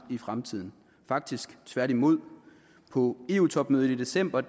i fremtiden faktisk tværtimod på eu topmødet i december